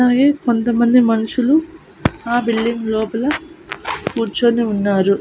అవి కొంతమంది మనుషులు ఆ బిల్డింగ్ లోపల కూర్చుని ఉన్నారు.